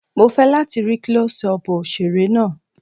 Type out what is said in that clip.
Mo fẹ́ láti rí Klọ́sí ọpù òṣèré náà.